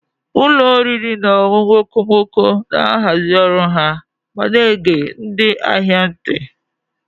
Ụlọ oriri na ọṅụṅụ okomoko na-ahazi ọrụ ha ma na-ege ndị ahịa ntị.